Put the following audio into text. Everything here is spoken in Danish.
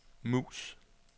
mus